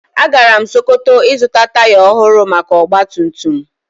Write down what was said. Agara m sokoto ịzụta taya ohụrụ maka ọgbatumtum m